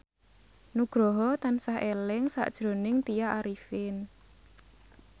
Nugroho tansah eling sakjroning Tya Arifin